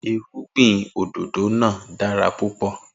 Irúgbìn òdòdó náà dára púpò